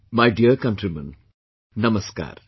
My dear countrymen, Namaskar